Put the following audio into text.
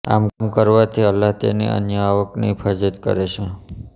આમ કરવાથી અલ્લાહ્ તેની અન્ય આવકની હીફાજત કરે છે